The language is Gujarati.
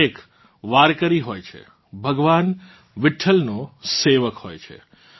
દરેક વારકરી હોય છે ભગવાન વિઠ્ઠલનો સેવક હોય છે